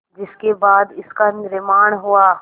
जिसके बाद इसका निर्माण हुआ